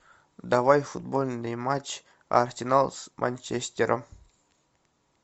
давай футбольный матч арсенал с манчестером